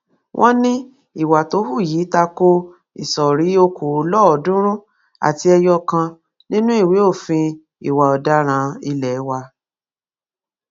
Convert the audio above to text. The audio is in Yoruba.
wọn ní ìwà tó hù yìí ta ko ìsọrí okòólọọọdúnrún àti ẹyọ kan nínú ìwé òfin ìwà ọdaràn ilé wa